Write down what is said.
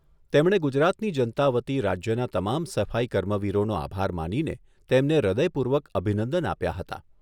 તેમણે ગુજરાતની જનતા વતી રાજ્યના તમામ સફાઈ કર્મવીરોનો આભાર માનીને તેમને હૃદયપૂર્વક અભિનંદન આપ્યા હતા.